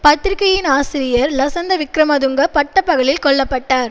பத்திரிகையின் ஆசிரியர் லசந்த விக்கிரமதுங்க பட்டப்பகலில் கொல்ல பட்டார்